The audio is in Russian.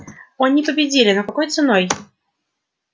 они победили но какой ценой